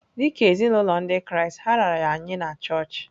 Dị ka ezinụlọ Ndị Kraịst, ha raara ya nye na chọọchị.